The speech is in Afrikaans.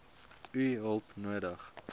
u hulp nodig